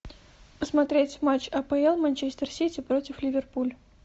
посмотреть матч апл манчестер сити против ливерпуль